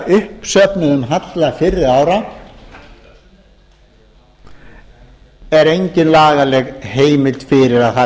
uppsöfnuðum halla fyrri ára er engin lagaleg heimild fyrir að það